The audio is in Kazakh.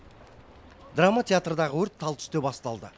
драма театрдағы өрт тал түсте басталды